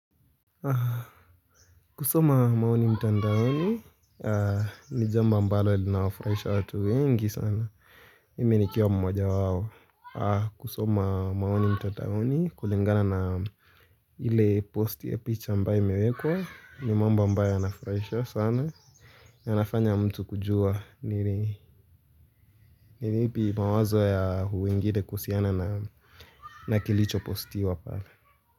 Kusoma maoni mtandaoni, ni jambo ambalo linawa furaisha watu wengi sana Mimi nikiawa mmoja wao kusoma maoni mtandaoni, kulingana na ile posti picha ambaye imewekwa ni mambo ambayo yanafurahisha sana yanafanya mtu kujua ni lipi mawazo ya wengine kuhusiana na kilicho posti pale.